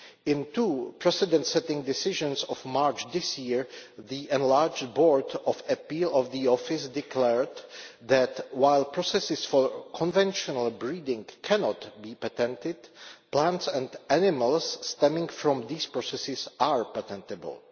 In two precedent setting decisions of March this year, the enlarged Board of Appeal of the Office declared that, while processes for conventional breeding cannot be patented, plants and animals stemming from these processes are patentable.